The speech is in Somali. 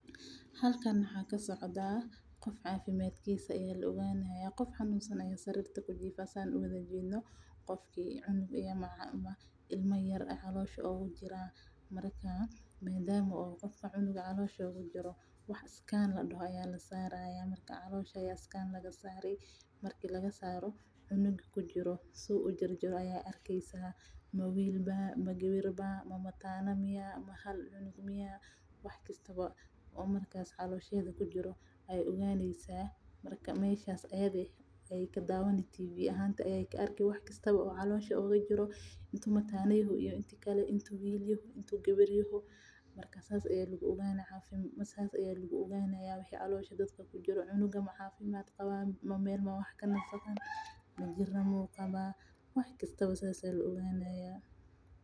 Halkan waxaa kasocdaa qof cafimaadkiisa ayaa la ogaani haaya qof xanuunsan ayaa jiifa marka cunug caloosha meesha oogu jiro waxba caloosha laga saare marka wuxuu arkaaya wiil miya mise gabar mise mataana cunug xanuunkisa iyo cafimaadkiisa wax walba ayaa la ogaanaya.